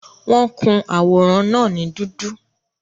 Wọ́n kun àwòrán náà ní dúdú